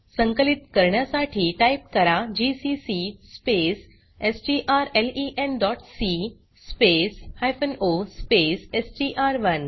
संकलित करण्यासाठी टाइप करा जीसीसी स्पेस strlenसी स्पेस o स्पेस एसटीआर1